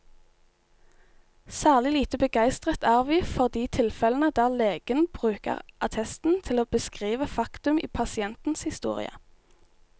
Særlig lite begeistret er vi for de tilfellene der legen bruker attesten til å beskrive faktum i pasientens historie.